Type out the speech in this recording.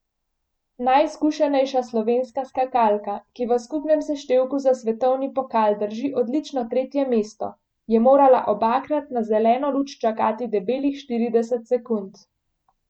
Najizkušenejša slovenska skakalka, ki v skupnem seštevku za svetovni pokal drži odlično tretje mesto, je morala obakrat na zeleno luč čakati debelih štirideset sekund.